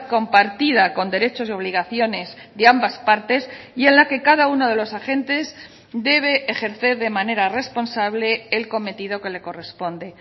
compartida con derechos y obligaciones de ambas partes y en la que cada uno de los agentes debe ejercer de manera responsable el cometido que le corresponde